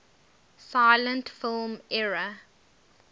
silent film era